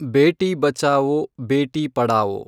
ಬೇಟಿ ಬಚಾವೊ ಬೇಟಿ ಪಢಾವೋ